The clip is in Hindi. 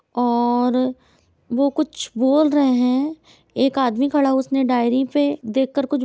और वो कुछ बोल रहे हैं एक आदमी खड़ा हैं उसने डायरी पे देख कर कुछ --